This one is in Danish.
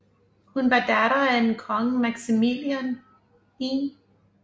Hun var datter af af kong Maximilian 1